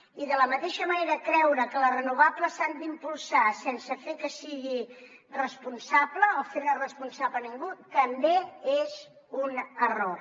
i de la mateixa manera creure que les renovables s’han d’impulsar sense fer que es sigui responsable o fent ne responsable ningú també és un error